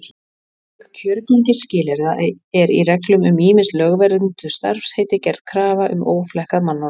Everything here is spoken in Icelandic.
Auk kjörgengisskilyrða er í reglum um ýmis lögvernduð starfsheiti gerð krafa um óflekkað mannorð.